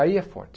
Aí é forte.